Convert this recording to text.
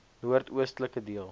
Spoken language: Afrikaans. noord oostelike deel